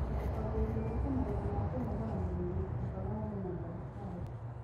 Mbere ya kwambĩrĩria gwĩka maũndũ ma kũnogora mwĩrĩ, amba warie na ndagĩtarĩ.